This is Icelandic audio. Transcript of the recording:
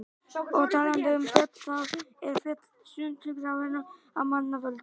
Og talandi um fjöll, þá eru til fjöll sundurgrafin af manna völdum.